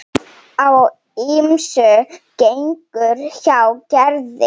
Á ýmsu gengur hjá Gerði.